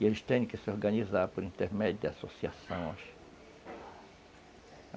E eles têm que se organizar por intermédio de associações.